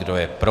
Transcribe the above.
Kdo je pro?